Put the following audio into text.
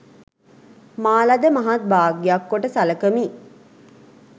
මා ලද මහත් භාග්‍යක් කොට සලකමි